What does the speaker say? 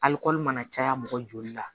Alikɔri mana caya mɔgɔ joli la